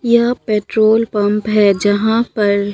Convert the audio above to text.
यहां petrol pump है यहां पर--